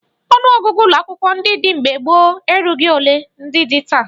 Ọnụọgụgụ ụlọakwụkwọ ndị dị mgbe gboo erughi ole ndị dị taa